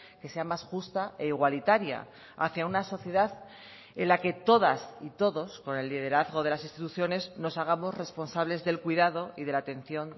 que sea más justa e igualitaria hacía una sociedad en la que todas y todos con el liderazgo de las instituciones nos hagamos responsables del cuidado y de la atención